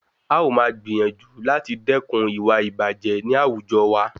A ó máa gbìyànjú láti dẹ́kun ìwà ìbàjẹ́ ní àwùjọ wa.